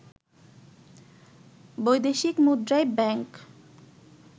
বৈদেশিক মুদ্রায় ব্যাংক